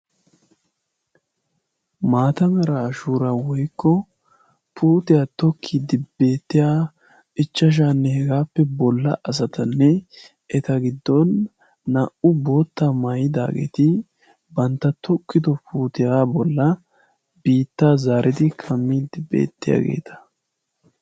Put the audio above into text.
Maata Mera shuuriya woyikko puutiya tokkiiddi beettiya ichchashaanne hegaappe bolla asatanne eta giddon naa"u boottaa mayidaageeti bantta tokkido puutiya bollan biittaa zaaridi kammiiddi beettiyageeta.